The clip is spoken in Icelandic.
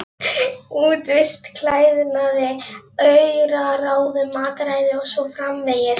Útivist, klæðnaði, auraráðum, mataræði og svo framvegis.